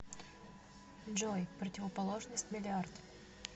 джой противоположность миллиард